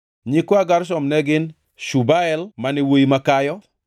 Nyikwa Gershom ne gin: Shubael mane wuowi makayo.